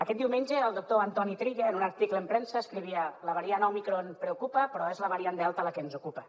aquest diumenge el doctor antoni trilla en un article en premsa escrivia la variant òmicron preocupa però és la variant delta la que ens ocupa